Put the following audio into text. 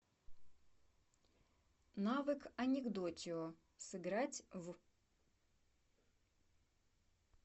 навык анекдотио сыграть в